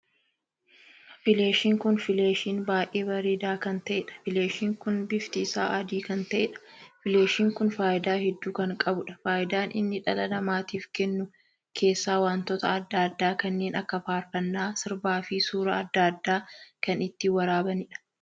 Fileeshiin kun fileeshiin baay'ee bareedaa kan taheedha. fileeshiin kun bifti isaa adii kan taheedha. fileeshiin kun faayidaa hedduu kan qabuudha. faayidaan inni dhala namaatiif kennu keessaa wantoota addaa addaa kanneen akka faarfannaa, sirba fi suuraa addaa addaa kan ittiin waraabaniidha.